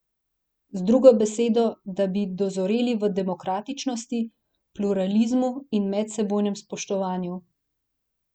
Z drugo besedo, da bi dozoreli v demokratičnosti, pluralizmu in medsebojnem spoštovanju.